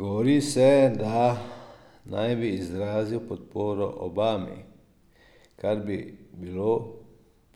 Govori se, da naj bi izrazil podporo Obami, kar bi bilo